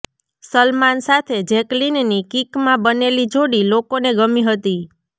સલમાન સાથે જૅકલીનની કિકમાં બનેલી જોડી લોકોને ગમી હતી